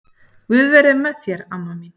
Guð veri með þér amma mín.